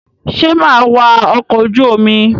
Sọ máa wa ọkọ̀ ojú omi?